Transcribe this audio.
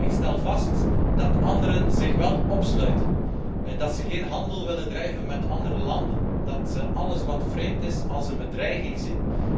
Maar ik stel vast dat anderen zich wel opsluiten, dat ze geen handel willen drijven met andere landen, dat zij alles wat vreemd is als een bedreiging zien.